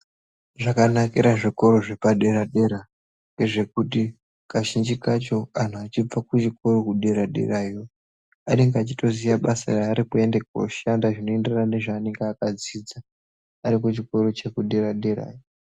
Zvakanakira zvikora zvepadera dera ndezvekuti kazhinji kacho vantu vachibva kuchikora chedera dera vanenge vachitoziva basa ranenge achienda kundoshanda zvinoenderana nezvanenge akadzidza arikuchikora chekudera dera iyo.